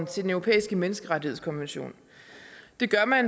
til den europæiske menneskerettighedskonvention